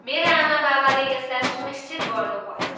मेरा आमाबाबाले यसलाई सुनिश्चित गर्नुभयो।